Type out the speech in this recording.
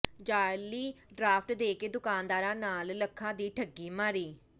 ਜਾਅਲੀ ਡਰਾਫਟ ਦੇ ਕੇ ਦੁਕਾਨਦਾਰਾਂ ਨਾਲ ਲੱਖਾਂ ਦੀ ਠੱਗੀ ਮਾਰੀ